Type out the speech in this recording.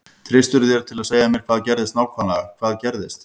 Treystirðu þér til að segja mér hvað gerðist nákvæmlega hvað gerðist?